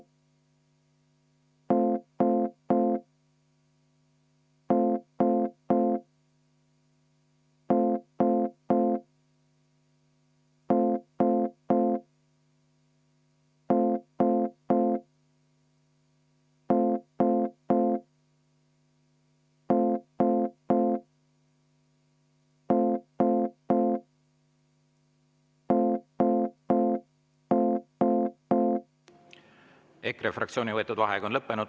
EKRE fraktsiooni võetud vaheaeg on lõppenud.